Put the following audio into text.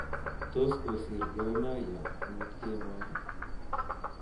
Tos kosir Gor Mahia amut kemoi